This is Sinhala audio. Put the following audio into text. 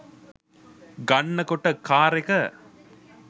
ගන්න කොට කාරෙක